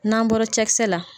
N'an bɔra cɛkisɛ la